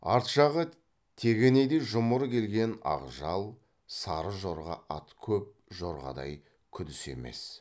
арт жағы тегенедей жұмыр келген ақ жал сары жорға ат көп жорғадай күдіс емес